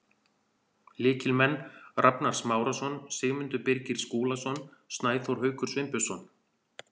Lykilmenn: Rafnar Smárason, Sigmundur Birgir Skúlason, Snæþór Haukur Sveinbjörnsson.